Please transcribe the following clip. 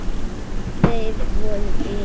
Þeir voru vinir.